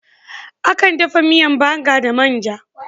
Akan dafa miyan Banga da man'ja.